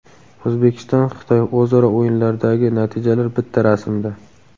O‘zbekiston Xitoy: o‘zaro o‘yinlardagi natijalar bitta rasmda.